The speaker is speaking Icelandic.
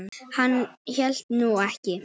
Hann hélt nú ekki.